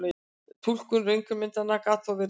Túlkun röntgenmyndanna gat þó verið vandasöm.